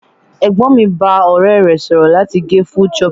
Ẹ̀gbọ́n mi bá ọ̀rẹ́ rẹ̀ sọ̀rọ̀ láti gẹ full choppy.